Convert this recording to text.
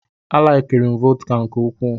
A laikiri m vọdka nke ukwuu.